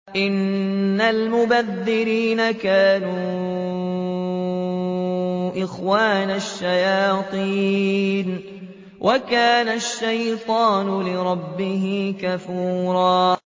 إِنَّ الْمُبَذِّرِينَ كَانُوا إِخْوَانَ الشَّيَاطِينِ ۖ وَكَانَ الشَّيْطَانُ لِرَبِّهِ كَفُورًا